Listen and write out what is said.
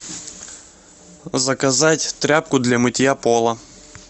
заказать тряпку для мытья пола